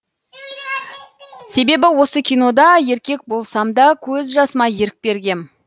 себебі осы кинода еркек болсам да көз жасыма ерік бергем